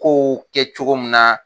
Kow kɛ cogo min na